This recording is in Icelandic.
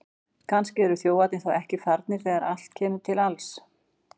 Kannski eru þjófarnir þá ekki farnir þegar allt kemur til alls!